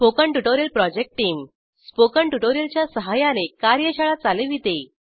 spoken tutorial project team spoken tutorial च्या सहाय्याने कार्यशाळा चालविते